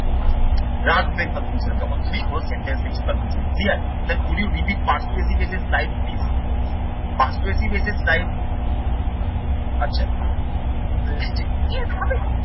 লাগবে conclusion এ যখন তুমি কোনো sentence লিখছ তার পিছনে clear? Would you visit persuasive essay persuasive essay আচ্ছা